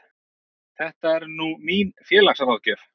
Þetta er nú mín félagsráðgjöf.